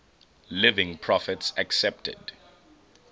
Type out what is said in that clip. living prophets accepted